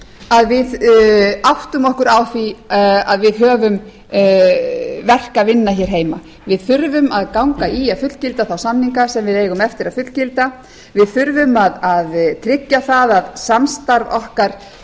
að við áttum okkur á því að við höfum verk að vinna hér heima við þurfum að ganga í að fullgilda þá samninga sem við eigum eftir að fullgilda við þurfum að tryggja að samstarf okkar við